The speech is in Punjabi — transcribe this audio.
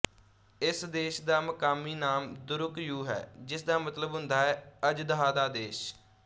ਇਸ ਦੇਸ਼ ਦਾ ਮਕਾਮੀ ਨਾਮ ਦਰੁਕ ਯੂ ਹੈ ਜਿਸਦਾ ਮਤਲਬ ਹੁੰਦਾ ਹੈ ਅਝਦਹਾ ਦਾ ਦੇਸ਼